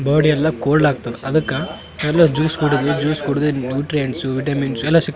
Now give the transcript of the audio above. body ಎಲ್ಲ cold ಆಗ್ತದ ಅದಕ್ಕ ಎಲ್ಲ ಜ್ಯೂಸ್ ಕುಡ್ದು ಜ್ಯೂಸ್ ಕುಡಿದು ನ್ಯೂಟ್ರಿಯೆಂಟ್ಸ್ ವಿಟಮಿನ್ಸ್ ಎಲ್ಲ ಸಿಗ್ --